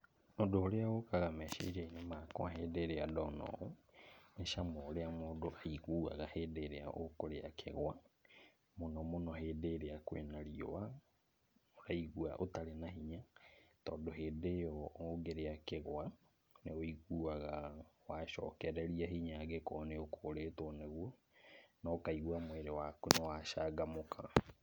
Ũndũ ũrĩa ũkaga meciria-inĩ makwa hĩndĩ ĩrĩa ndona ũũ, nĩ cama ũrĩa mũndũ aiguaga hĩndĩ ĩrĩa ũkũrĩa kĩgwa. Mũno mũno hĩndĩ ĩrĩa kwĩna riũa waigua ũtarĩ na hinya, tondũ hĩndĩ ĩyo ũngĩrĩa kĩgwa, nĩ wũiguaga wacokereria hinya angĩkorwo nĩ ũkũrĩtwo nĩguo, na ũkaigua mwĩrĩ waku nĩ wacangamũka.